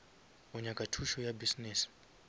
o nyaka thušo ya business